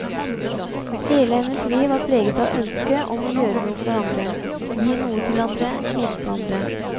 Hele hennes liv var preget av ønsket om å gjøre noe for andre, gi noe til andre, hjelpe andre.